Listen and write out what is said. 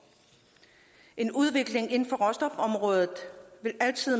en udvikling inden for råstofområdet vil altid